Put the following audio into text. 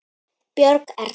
Björg Erla.